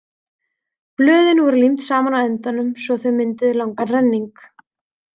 Blöðin voru límd saman á endunum svo að þau mynduðu langan renning.